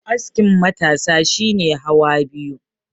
askin matasa shi ne hawa biyu